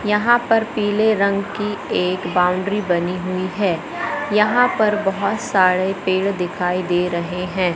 यहां पर पीले रंग की एक बाउंड्री बनी हुईं हैं यहां पर बहोत सारे पेड़ दिखाई दे रहें हैं।